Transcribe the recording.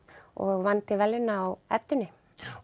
og vann til verðlauna á Eddunni